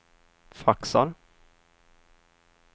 faxar